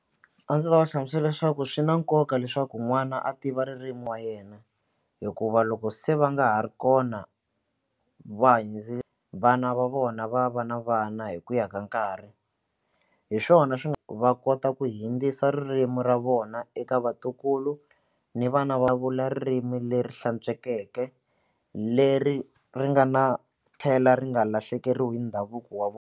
A ndzi ta va hlamusela leswaku swi na nkoka leswaku n'wana a tiva ririmi wa yena hikuva loko se va nga ha ri kona va vana va vona va va na vana hi ku ya ka nkarhi hi swona swi va kota ku hundzisa ririmi ra vona eka vatukulu ni vana va vula ririmi leri hlantswekeke leri ri nga na tlhela ri nga lahlekeriwi hi ndhavuko wa vona.